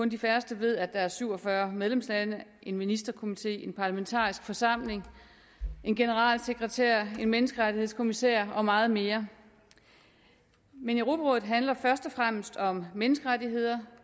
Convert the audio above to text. de færreste ved at der er syv og fyrre medlemslande en ministerkomité en parlamentarisk forsamling en generalsekretær en menneskerettighedskommissær og meget mere men europarådet handler først og fremmest om menneskerettigheder